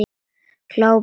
Glápir á hana.